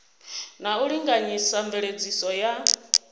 na u linganyisa mveledziso ya